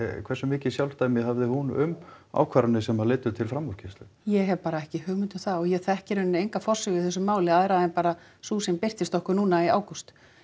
hversu mikið sjálfdæmi hafði hún um ákvarðanir sem leiddu til framúrkeyrslu ég hef bara ekki hugmynd um það og ég þekki í raun enga forsögu í þessu máli aðra en bara sú sem birtist okkur núna í ágúst